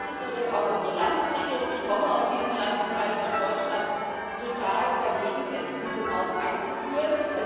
Da ist es so, dass auch unsere Landesregierung ich komme aus diesem Landesteil von Deutschland total dagegen ist, diese Maut einzuführen.